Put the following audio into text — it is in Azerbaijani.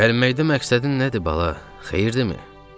"Gəlməkdə məqsədin nədir, bala, xeyirdimi?"